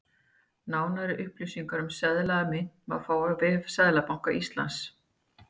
Nánari upplýsingar um seðla og mynt má fá á vef Seðlabanka Íslands.